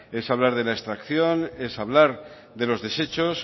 es hablar de la extracción es hablar de los desechos